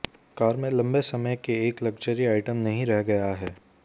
car में लंबे समय के एक लक्जरी आइटम नहीं रह गया है